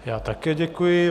Já také děkuji.